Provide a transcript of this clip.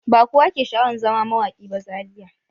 Ba kowa ke sha'awan zama mawaƙi ba Zariya.